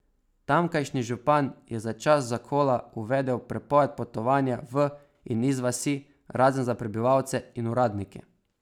Tamkajšnji župan je za čas zakola uvedel prepoved potovanja v in iz vasi razen za prebivalce in uradnike.